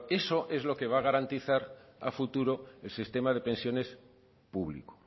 eso es lo que va a garantizar a futuro el sistema de pensiones público